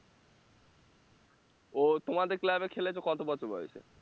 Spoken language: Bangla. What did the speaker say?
ও তোমাদের club খেলেছে কত বছর বয়সে?